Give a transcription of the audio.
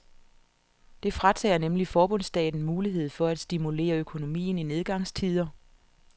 Det fratager nemlig forbundsstaten muligheden for at stimulere økonomien i nedgangstider.